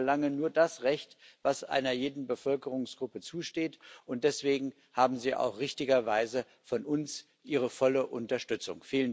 Sie verlangen nur das Recht, das einer jeden Bevölkerungsgruppe zusteht, und deswegen haben sie auch richtigerweise von uns volle Unterstützung.